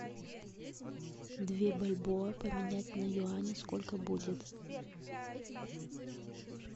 две бальбоа поменять на юани сколько будет